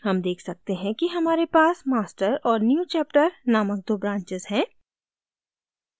हम देख सकते हैं कि हमारे पास master और newchapter named दो branches हैं